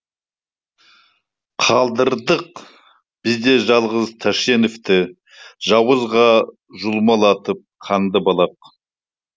қалдырдық біз де жалғыз тәшеневті жауызға жұлмалатып қанды балақ